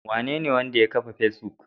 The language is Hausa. Wanene wanda ya kafa Facebook?